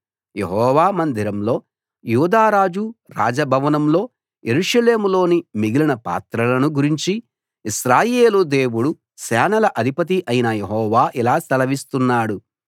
యెహోవా మందిరంలో యూదా రాజు రాజ భవనంలో యెరూషలేములోని మిగిలిన పాత్రలను గురించి ఇశ్రాయేలు దేవుడు సేనల అధిపతి అయిన యెహోవా ఇలా సెలవిస్తున్నాడు